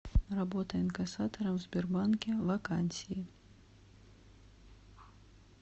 работа инкассатором в сбербанке вакансии